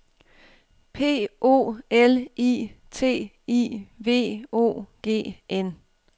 P O L I T I V O G N